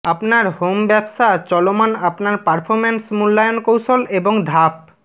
আপনার হোম ব্যবসা চলমান আপনার পারফরম্যান্স মূল্যায়ন কৌশল এবং ধাপ